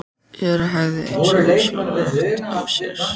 Jóra hægði eins og ósjálfrátt á sér.